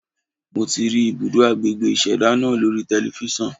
Mo ti rí ibùdó agbègbè ìṣẹ̀dá náà lórí telifíṣàn.